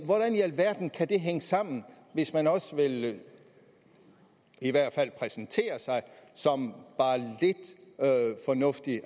alverden kan det hænge sammen hvis man også vil i hvert fald præsentere sig som bare lidt fornuftig